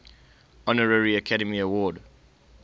honorary academy award